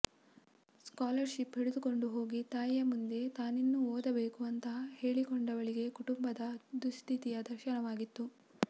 scholar ship ಹಿಡಿದುಕೊಂಡು ಹೋಗಿ ತಾಯಿಯ ಮುಂದೆ ತಾನಿನ್ನೂ ಓದಬೇಕು ಅಂತ ಹೇಳಿಕೊಂಡವಳಿಗೆ ಕುಟುಂಬದ ದುಸ್ಥಿತಿಯ ದರ್ಶನವಾಗಿತ್ತು